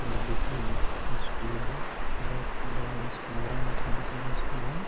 ये देखिए यह एक स्कूल है बहोत बड़ा यह स्कूल है इंटरनेशनल स्कूल है।